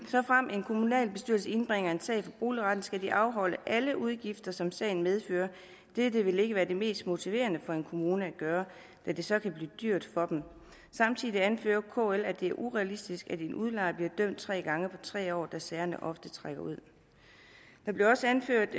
en kommunalbestyrelse indbringer en sag for boligretten skal de afholde alle udgifter som sagen medfører dette vil ikke være det mest motiverende for en kommune at gøre da det så kan blive dyrt for dem samtidig anfører kl at det er urealistisk at en udlejer bliver dømt tre gange på tre år da sagerne ofte trækker ud der bliver også anført